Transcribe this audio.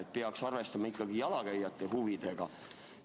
Jalgrattur peaks ikkagi jalakäijate huvidega arvestama.